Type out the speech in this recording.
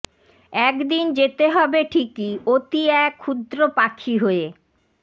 একদিন যেতে হবে ঠিকই অতি এক ক্ষুদ্র পাখি হয়ে